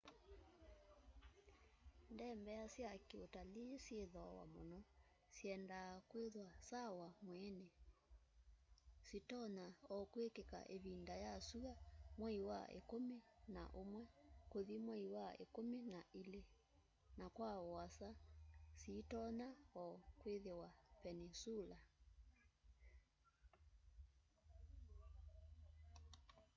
ndembea sya ki utalii syi thooa muno syendaa kwithiwa sawa mwiini sitonya o kwikika ivinda ya syua nwei wa ikumi na umwe kuthi mwei wa ikumi na ili na kwa uasa sitonya o kwithiwa peninsula